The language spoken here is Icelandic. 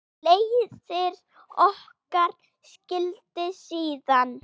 Leiðir okkar skildi síðan.